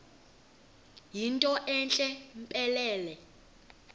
yinto entle mpelele